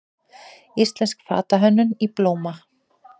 Íslensk fatahönnun í blóma